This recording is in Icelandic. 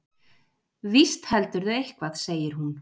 Víst heldurðu eitthvað, segir hún.